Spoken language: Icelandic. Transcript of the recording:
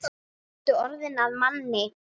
Nú ertu orðinn að manni.